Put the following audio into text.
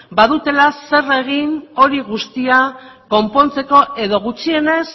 badutela zer egin hori guztia konpontzeko edo gutxienez